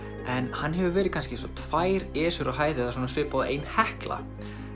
en hann hefur verið kannski tvær á hæð eða svipað og ein Hekla